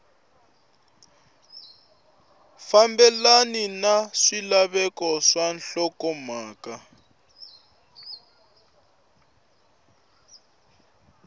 fambelena na swilaveko swa nhlokomhaka